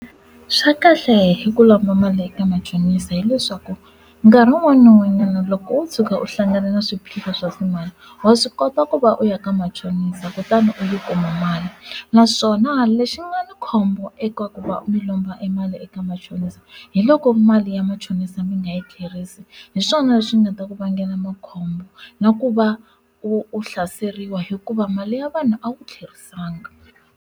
Swa kahle hi ku lomba mali eka machonisa hileswaku nkarhi wun'wana na wun'wanyana loko u tshuka u hlangana na swiphiqo swa timali wa swi kota ku va u ya ka machonisa kutani u yi kuma mali naswona lexi nga ni khombo eka ku va mi lomba mali eka machonisa hi loko mali ya machonisa mi nga yi tlheriseli naswona leswi nga ta ku vangela makhombo na ku va u hlaseriwa hikuva mali ya vanhu a wu tlherisanga.